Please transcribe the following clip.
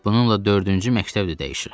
Bununla dördüncü məktəbi də dəyişirəm.